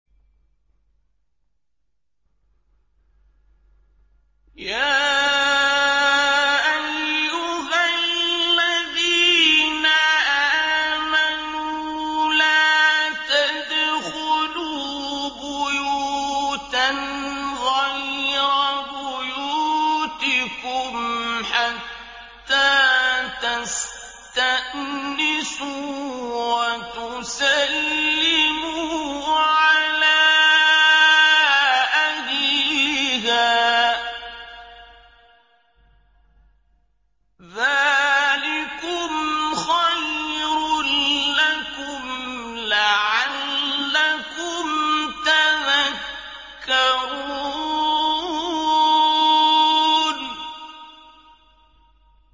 يَا أَيُّهَا الَّذِينَ آمَنُوا لَا تَدْخُلُوا بُيُوتًا غَيْرَ بُيُوتِكُمْ حَتَّىٰ تَسْتَأْنِسُوا وَتُسَلِّمُوا عَلَىٰ أَهْلِهَا ۚ ذَٰلِكُمْ خَيْرٌ لَّكُمْ لَعَلَّكُمْ تَذَكَّرُونَ